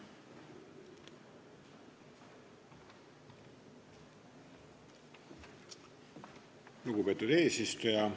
Lugupeetud eesistuja!